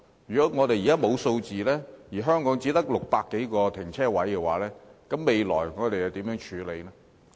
如果我們現在沒有數字，而香港只有600多個停車位，將來如何處理？